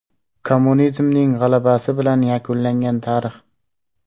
Kommunizmning g‘alabasi bilan yakunlangan tarix.